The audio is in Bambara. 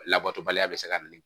Labatobaliya bɛ se ka na ni